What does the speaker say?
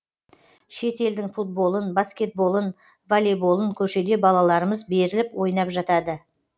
шет елдің футболын баскетболын воллейболын көшеде балаларымыз беріліп ойнап жатады